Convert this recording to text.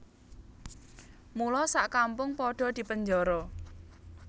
Mula sak kampung padha dipenjara